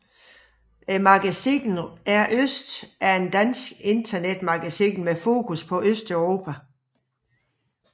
Magasinet rØST er et dansk internetmagasin med fokus på Østeuropa